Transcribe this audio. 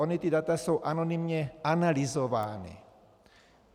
Ona ta data jsou anonymně analyzována.